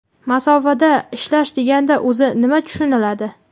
Masofadan ishlash deganda o‘zi nima tushuniladi?.